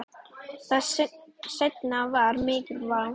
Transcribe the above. Það seinna var mikil vá.